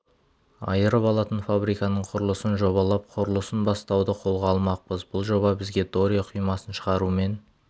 айырып алатын фабриканың құрылысын жобалап құрылысын бастауды қолға алмақпыз бұл жоба бізге доре құймасын шығарумен